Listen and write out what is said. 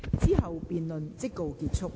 之後辯論即告結束。